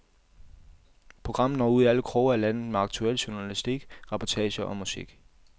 Programmet når ud i alle kroge af landet med aktuel journalistik, reportager og musik.